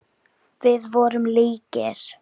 Við vorum líkir.